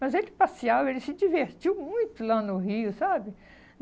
Mas ele passeava, ele se divertiu muito lá no Rio, sabe?